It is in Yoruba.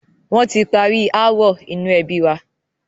Wọn tí parí ááwọ̀ inú ẹbi wa.